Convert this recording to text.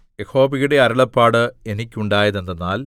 യഹോവയുടെ അരുളപ്പാട് എനിക്കുണ്ടായതെന്തെന്നാൽ